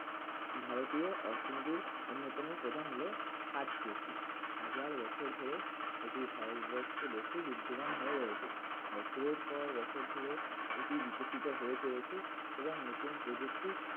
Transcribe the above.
ভারতীয় অর্থনীতির অন্যতম প্রধান হলো হাট সৃষ্টি হাজার বছর ধরে এটি ভারতবর্ষ দেখে বিদ্যমান হয়ে রয়েছে বছরের পর বছর ধরে এটি বিকশিত হয়ে চলেছে এবং নতুন প্রযুক্তি